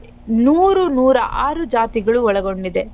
ನೂರು ನೂರಾ ಆರು ಜಾತಿಗಳು ಒಳಗೊಂಡಿದೆ.